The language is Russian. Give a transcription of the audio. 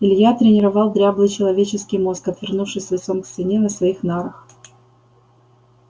илья тренировал дряблый человеческий мозг отвернувшись лицом к стене на своих нарах